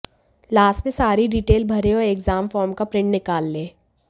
last में सारी detail भरें और एग्जाम फॉर्म का प्रिंट निकाल लें